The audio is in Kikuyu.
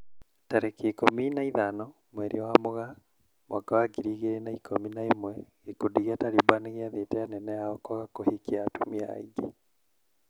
Tarĩki ikũmi na ithano mweri wa Mũgaa mwaka wa ngiri igĩrĩ na ikũmi na ĩmwe gĩkundi gĩa Taliban nĩgĩathĩte anene ao kwaga kũhikia atumia aingĩ.